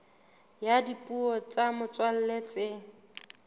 ya dipuo tsa motswalla tse